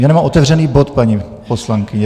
Já nemám otevřený bod, paní poslankyně.